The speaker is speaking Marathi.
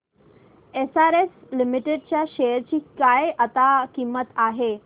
एसआरएस लिमिटेड च्या शेअर ची आता काय किंमत आहे